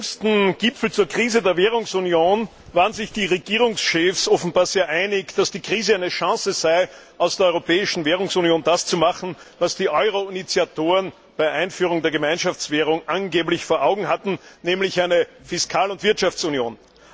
Beim jüngsten Gipfel zur Krise der Währungsunion waren sich die Regierungschefs offenbar sehr einig, dass die Krise eine Chance sei, aus der europäischen Währungsunion das zu machen, was die Euroinitiatoren bei der Einführung der Gemeinschaftswährung angeblich vor Augen hatten, nämlich eine Fiskal und Wirtschaftsunion.